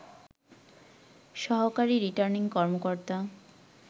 সহকারী রিটার্নিং কর্মকর্তা